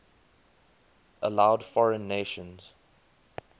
allowed foreign nations